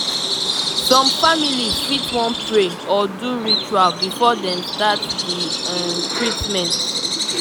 some families fit wan pray or do ritual before dem start the um treatment